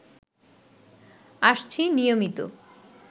আসছি নিয়মিত